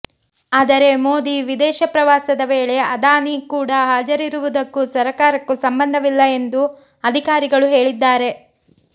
ಆದರೆ ಮೋದಿ ವಿದೇಶ ಪ್ರವಾಸದ ವೇಳೆ ಅದಾನಿ ಕೂಡಾ ಹಾಜರಿರುವುದಕ್ಕೂ ಸರಕಾರಕ್ಕೂ ಸಂಬಂಧವಿಲ್ಲ ಎಂದು ಅಧಿಕಾರಿಗಳು ಹೇಳಿದ್ದಾರೆ